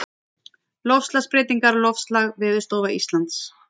Loftslagsbreytingar Loftslag Veðurstofa Íslands.